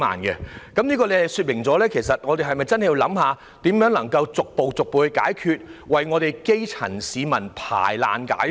各位局長，這說明我們實在有需要研究如何逐步解決房屋問題，為基層市民排難解紛。